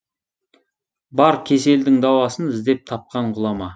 бар кеселдің дауасын іздеп тапқан ғұлама